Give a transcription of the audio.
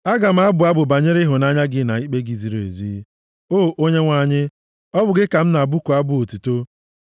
Aga m abụ abụ banyere ịhụnanya gị na ikpe gị ziri ezi; o Onyenwe anyị, ọ bụ gị ka m ga-abụku abụ otuto.